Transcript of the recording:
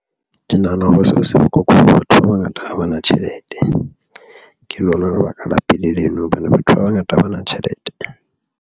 Ke nahana hore seo se bohlokwa. Batho ba bangata ha bana tjhelete ke lona lebaka la pele leno hobane batho ba bangata ba na tjhelete.